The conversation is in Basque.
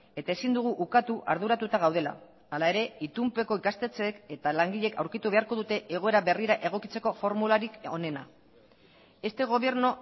eta ezin dugu ukatu arduratuta gaudela hala ere itunpeko ikastetxeek eta langileek aurkitu beharko dute egoera berrira egokitzeko formularik onena este gobierno